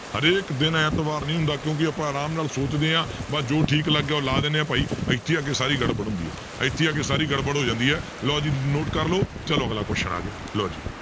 ਹਰੇਕ ਦਿਨ ਐਤਵਾਰ ਨਹੀਂ ਹੁੰਦਾ ਕਿਉਂਕਿ ਆਪਾਂ ਆਰਾਮ ਨਾਲ ਸੋਚਦੇ ਹਾਂ ਬਸ ਜੋ ਠੀਕ ਲੱਗਿਆ ਉਹ ਲਾ ਦਿੰਦੇ ਹਾਂ ਭਾਈ, ਇੱਥੇ ਆ ਕੇ ਸਾਰੀ ਗੜਬੜ ਹੁੰਦੀ ਹੈ ਇੱਥੇ ਆ ਕੇ ਸਾਰੀ ਗੜਬੜ ਹੋ ਜਾਂਦੀ ਹੈ ਲਓ ਜੀ note ਕਰ ਲਓ ਚਲੋ ਅਗਲਾ question ਆ ਗਿਆ ਲਓ ਜੀ